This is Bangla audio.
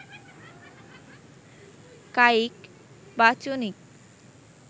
কায়িক, বাচনিক